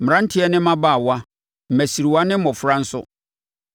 mmeranteɛ ne mmabaawa mmasiriwa ne mmɔfra nso.